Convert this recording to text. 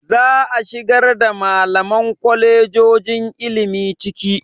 Za a shigar da malaman kwalejojon ilimi ciki.